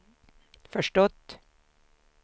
förstått